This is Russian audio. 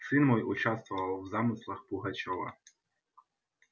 сын мой участвовал в замыслах пугачёва